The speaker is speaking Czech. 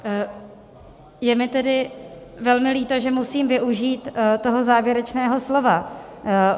Je mi tedy velmi líto, že musím využít toho závěrečného slova.